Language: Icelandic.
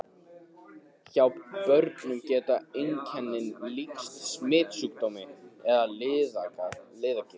Hjá börnum geta einkennin líkst smitsjúkdómi eða liðagigt.